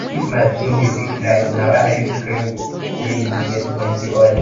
if my skin dey quick dry na why i use cream wey get plenty oil